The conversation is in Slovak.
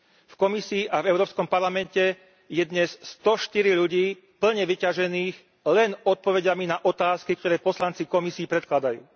V Komisii a v Európskom parlamente je dnes 104 ľudí plne vyťažených len odpoveďami na otázky, ktoré poslanci Komisii predkladajú.